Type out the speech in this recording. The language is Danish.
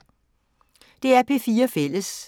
DR P4 Fælles